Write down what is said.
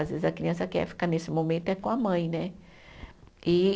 Às vezes a criança quer ficar nesse momento, é com a mãe, né? E